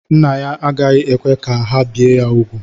Nna ya agaghị ekwe ka ha bie ya úgwù.